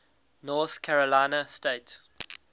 north carolina state